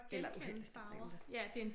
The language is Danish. Eller uheldigt det ved jeg ikke om det er